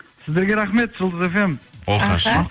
сіздерге рахмет жұлдыз фм оқасы жоқ